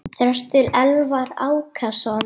Þröstur Elvar Ákason.